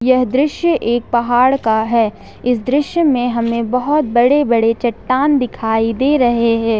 यह दृश्य एक पहाड़ का है इस दृश्य में हमें बहुत बड़े बड़े चट्टान दिखाई दे रहे हैं।